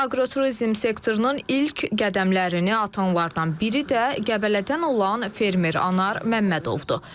Aqroturizm sektorunun ilk qədəmlərini atanlardan biri də Qəbələdən olan fermer Anar Məmmədovdur.